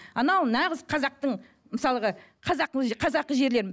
анау нағыз қазақтың мысалғы қазақы жерден